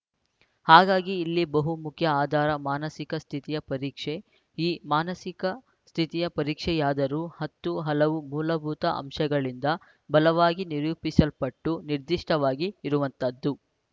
ಹಾಗಾಗಿ ಇಲ್ಲಿ ಬಹು ಮುಖ್ಯ ಆಧಾರ ಮಾನಸಿಕ ಸ್ಥಿತಿಯ ಪರೀಕ್ಷೆ ಈ ಮಾನಸಿಕ ಸ್ಥಿತಿಯ ಪರೀಕ್ಷೆಯಾದರೂ ಹತ್ತು ಹಲವು ಮೂಲಭೂತ ಅಂಶಗಳಿಂದ ಬಲವಾಗಿ ನಿರೂಪಿಸಲ್ಪಟ್ಟು ನಿರ್ದಿಷ್ಟವಾಗಿ ಇರುವಂತದ್ದು